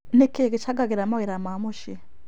Nĩkĩĩ gĩcangagĩra mawĩra ma mũciĩ